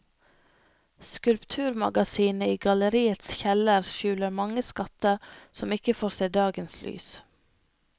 Skulpturmagasinet i galleriets kjeller skjuler mange skatter som ikke får se dagens lys.